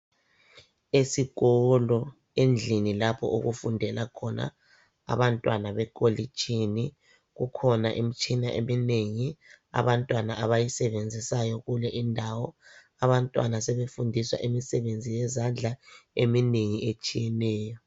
Esikolo endlini lapho okufundela khona abantwana bekolitshini kukhona imitshina eminengi abantwana abayisebenzisayo kule indawo abantwana sebefundiswa imisebenzi yezandla eminengi etshiyeneyo.